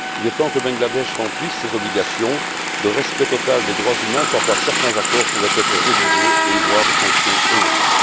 Il est temps que le Bangladesh remplisse ses obligations de respect total des droits humains, sans quoi certains accords pourraient être révisés, voire des sanctions énoncées.